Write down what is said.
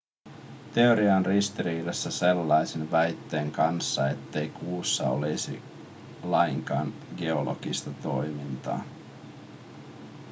teoria on ristiriidassa sellaisen väitteen kanssa ettei kuussa olisi lainkaan geologista toimintaa